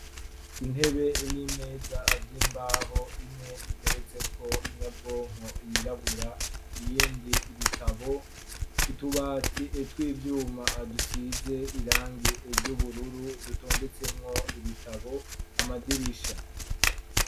Intebe n'imeza avyoimbaho imwe iteretseko inyabwonko yirabura iyindi ibitabo utubati etwa ivyuma adusize irangi eryo ubururu dutondetsemwo ibitabo amadirisha.